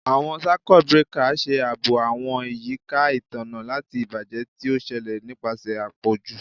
Awọn Circuit breaker ṣe aabo awọn iyika itanna lati ibajẹ ti o ṣẹlẹ nipasẹ apọju